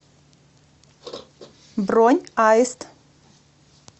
бронь аист